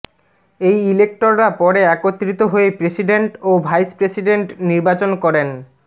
এই ইলেক্টররা পরে একত্রিত হয়ে প্রেসিডেন্ট ও ভাইস প্রেসিডেন্ট নির্বাচন করেন